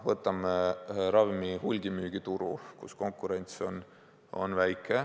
Võtame ravimite hulgimüügituru, kus konkurents on väike.